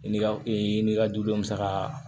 I n'i ka ee n'i ka dudenw saga